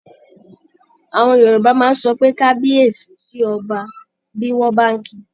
Àwọn Yorùbá máa sọ pé "kabiyesi" sí ọba, bí wọ́n bá ń ki.